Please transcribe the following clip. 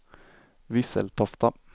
Visseltofta